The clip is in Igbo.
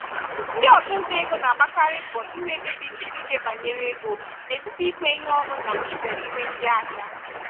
ndị ọchụnta ego na-agbakarị mbọ inwe ikpebi siri ike banyere ego n'etiti ikwe ihe ọnụ na izere iwe ndị ahịa.